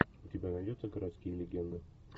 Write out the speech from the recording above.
у тебя найдется городские легенды